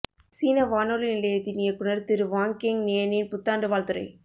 சீன வானொலி நிலையத்தின் இயக்குநர் திரு வாங் கெங் நியனின் புத்தாண்டு வாழ்த்துரை